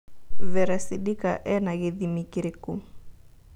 Vera sidika ena gĩthĩmĩ kĩrĩkũ